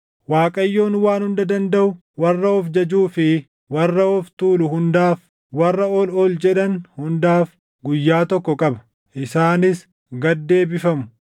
Waaqayyoon Waan Hunda Dandaʼu warra of jajuu fi warra of tuulu hundaaf, warra ol ol jedhan hundaaf guyyaa tokko qaba; isaanis gad deebifamu.